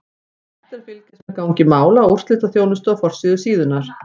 Hægt er að fylgjast með gangi mála á úrslitaþjónustu á forsíðu síðunnar.